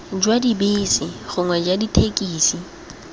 jwa dibese gongwe jwa dithekisi